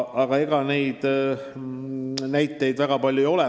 Aga ega neid näiteid väga palju ei ole.